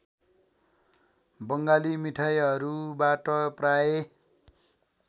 बङ्गाली मिठाईहरूबाट प्रायः